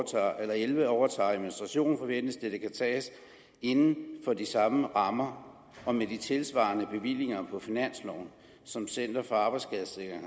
elleve overtager administrationen forventes det at det kan tages inden for de samme rammer og med de tilsvarende bevillinger på finansloven som center for arbejdsskadesikring